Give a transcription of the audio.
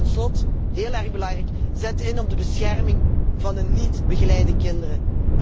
Tot slot, heel erg belangrijk zet in op de bescherming van de niet begeleide kinderen.